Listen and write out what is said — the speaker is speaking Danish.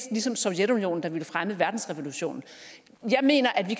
ligesom sovjetunionen der ville fremme verdensrevolutionen jeg mener at vi